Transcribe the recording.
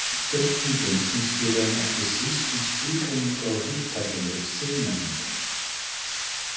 Spurningin snýst í raun ekki síst um skilgreiningu á hugtakinu siðmenning.